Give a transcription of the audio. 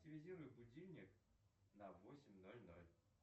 активизируй будильник на восемь ноль ноль